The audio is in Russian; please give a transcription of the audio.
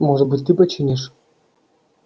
может быть ты починишь